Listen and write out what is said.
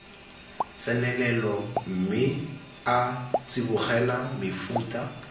tsenelelo mme a tsibogela mefuta